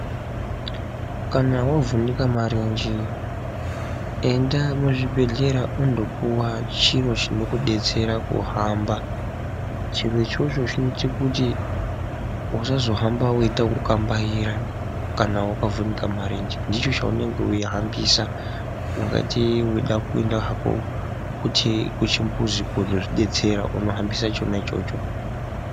Kana wavhunika marenje enda muzvibhehlera undopuwa chiro chinokudetsera kuhamba, chiro ichocho chinoite kuti usazohambe weita kukambaira, kana wakavhunika marenje ndicho chaunenge weihambisa, ungati weida kuenda hako kuti kuchimbudzi kozozvidetsera unohambisa chona ichocho.